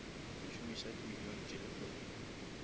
šomiša di million tse lekgolo